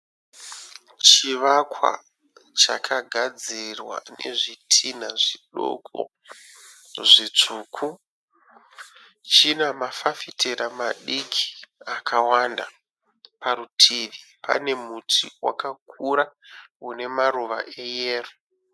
Chivakwa chakagadzirwa nezvitinha zvidoko, zvitsvuku. China mafafitera madiki akawanda, parutivi pane muti wakakura une maruva eyero